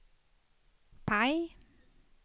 PIE